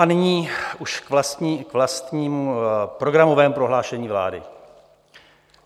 A nyní už k vlastnímu programovému prohlášení vlády.